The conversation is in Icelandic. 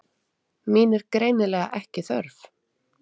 Mín er greinilega ekki þörf.